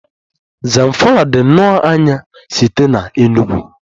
Zamfara dị nnọọ anya site na Enugwu